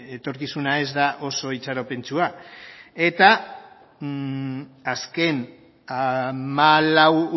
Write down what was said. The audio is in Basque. etorkizuna ez da oso itxaropentsua eta azken hamalau